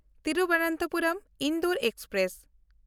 ᱛᱷᱤᱨᱩᱵᱚᱱᱛᱚᱯᱩᱨᱚᱢ–ᱤᱱᱫᱳᱨ express